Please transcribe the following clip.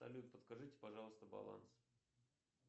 салют подскажите пожалуйста баланс